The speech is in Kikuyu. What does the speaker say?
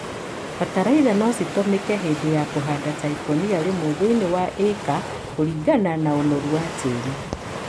bataraitha no citũmĩke hĩndĩ ya kũhanda ta ikũnia rĩmwe thĩiniĩ wa ĩka kũringana na ũnoru wa tĩĩri.